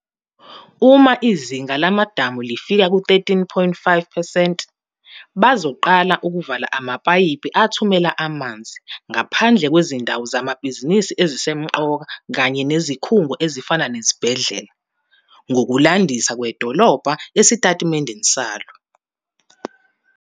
"Uma izinga lamadamu lifika ku-13.5 percent, bazoqala ukuvala amapayipi athumela amanzi, ngaphandle kwezindawo zezamabhizinisi ezisemqoka kanye nezikhungo, ezifana nezibhedlela," ngokulandisa kwedolobha esitatimendeni salo.